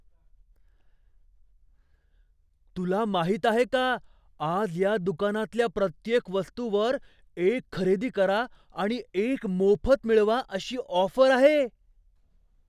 तुला माहीत आहे का, आज या दुकानातल्या प्रत्येक वस्तूवर एक खरेदी करा, आणि एक मोफत मिळवा अशी ऑफर आहे?